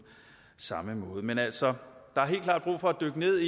samme måde men altså der er helt klart brug for at dykke ned